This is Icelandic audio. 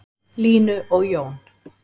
Línu og Jón.